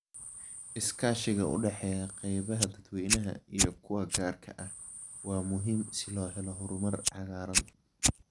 Iskaashiga u dhexeeya qaybaha dadweynaha iyo kuwa gaarka ah waa muhiim si loo helo horumar cagaaran.